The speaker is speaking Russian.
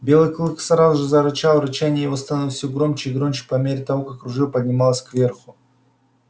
белый клык сразу же зарычал и рычание его становилось все громче и громче по мере того как ружье поднималось кверху